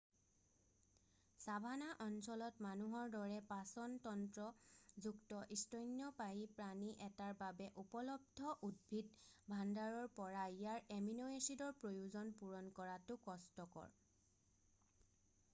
savannah অঞ্চলত মানুহৰ দৰে পাচন তন্ত্ৰ যুক্ত স্তন্যপায়ী প্ৰাণী এটাৰ বাবে উপলব্ধ উদ্ভিদ ভাণ্ডাৰৰ পৰা ইয়াৰ এমিন' এছিডৰ প্ৰয়োজন পূৰণ কৰাটো কষ্টকৰ